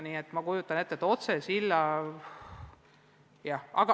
Nii et jah, ma kujutan ette, et otsesillaga võib tekkida probleeme.